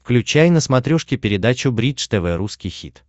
включай на смотрешке передачу бридж тв русский хит